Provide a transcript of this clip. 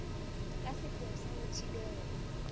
ka sepheo sa ho thibela